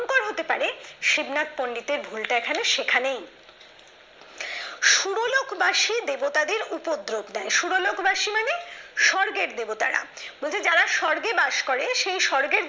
হতে পারে শিবনাথ পন্ডিতের ভুলটা এখানে সেখানেই। সুরলোকবাসী দেবতাদের উপদ্রব দেয়। সুরলোকবাসী মানে স্বর্গের দেবতারা। বলছে যারা স্বর্গে বাস করে সেই স্বর্গের